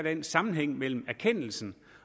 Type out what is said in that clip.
er en sammenhæng mellem erkendelsen